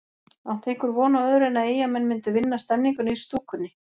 Átti einhver von á öðru en að Eyjamenn myndu vinna stemninguna í stúkunni?